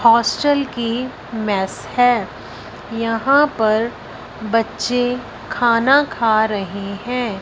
hostel की mess है यहां पर बच्चे खाना खा रहे--